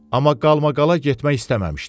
Amma qalmaqala getmək istəməmişdi.